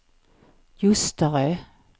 Ljusterö